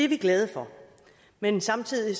vi glade for men samtidig